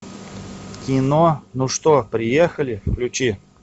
кино ну что приехали включи